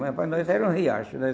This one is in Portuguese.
Mas para nós era um riacho, né?